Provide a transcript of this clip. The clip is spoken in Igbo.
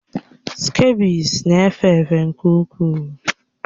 Skebiịs na-efe efe nke ukwuu